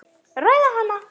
Ræða hana.